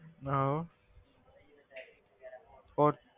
ਹਾਂ ਹੋਰ।